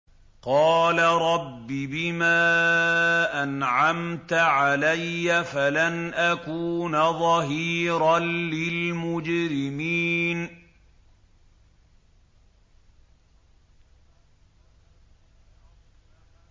قَالَ رَبِّ بِمَا أَنْعَمْتَ عَلَيَّ فَلَنْ أَكُونَ ظَهِيرًا لِّلْمُجْرِمِينَ